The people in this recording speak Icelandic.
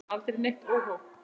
Aldrei neitt óhóf.